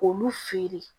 K'olu feere